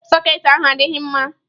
Sọketị ahụ adịghị mma.